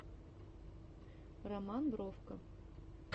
роман бровко